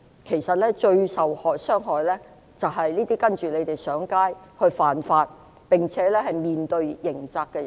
其實最受傷害的是這些聽從反對派呼籲上街犯法，並且面對刑責的人。